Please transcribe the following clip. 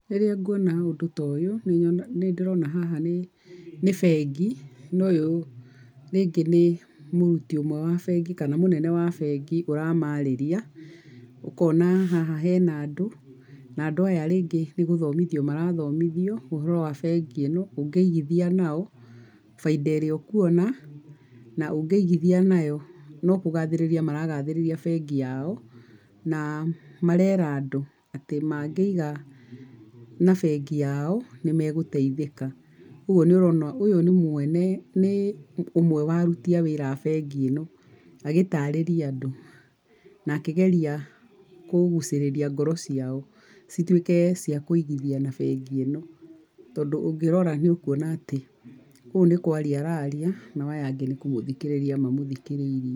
Rĩrĩa nguona ũndũ ta ũyũ, nĩ nĩndĩrona haha nĩ bengi na ũyũ ningĩ nĩ mũrũti ũmwe wa mbengi mũnene wa bengi ũramarĩria ,ukona haha hena andũ na andũ aya rĩngĩ nĩgũthomithio marathomithio ũhoro wa bengi ĩno ũngĩigithia nao, faida ĩrĩa ũkuona, na ũngĩigithia nayo no kũgathĩrĩria maragathĩrĩria bengi yao na marera andũ atĩ magĩiga na bengi yao nĩ magũteithĩka ũguo nĩ ũrona ũyũ nĩ mwene nĩ ũmwe wa arũti a wĩra a bengi ĩno, agĩtarĩria andũ na akĩgeria kũgucĩrĩria ngoro ciao, cituĩke cia kũigithia na mbengi ĩno, tondũ ũngĩrora nĩ ũkwona atĩ ũũ nĩ kwarĩria araria, nao aya angĩ nĩ kũmũthikĩrĩria mamũthikĩrĩrie.